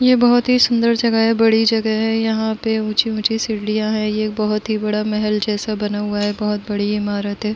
यह बहुत ही सुंदर जगह है। बड़ी जगह है। यहाँ पे ऊंची ऊंची सीढ़ियां हैं। ये बहुत ही बड़ा महल जैसा बना हुआ है। बहोत बड़ी इमारत है।